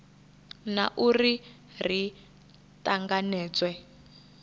na u ri ri tanganedzwe